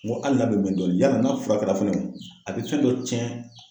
N ko hali n'a bɛ mɛn dɔɔni yala n'a furakɛla fɛnɛ a be fɛn dɔ cɛn?